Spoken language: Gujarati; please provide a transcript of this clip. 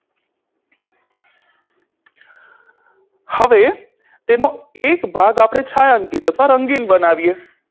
હવે તેનો એક ભાગ આપણે છાંયાંકીત અથવા રંગીન બનાવીએ